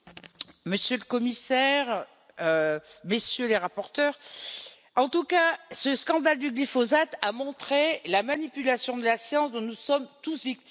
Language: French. Monsieur le Commissaire, Messieurs les rapporteurs, ce scandale du glyphosate a montré la manipulation de la science dont nous sommes tous victimes.